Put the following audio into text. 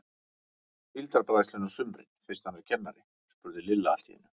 Síldarbræðslunni á sumrin fyrst hann er kennari? spurði Lilla allt í einu.